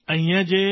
અહીંયા જે બી